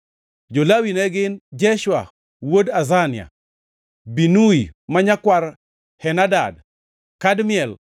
Jo-Lawi ne gin: Jeshua wuod Azania, Binui ma nyakwar Henadad, Kadmiel,